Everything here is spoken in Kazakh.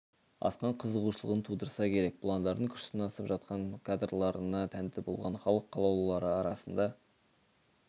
асқан қызығушылығын тудырса керек бұландардың күш сынасып жатқан кадрларына тәнті болған халық қалаулылары арасында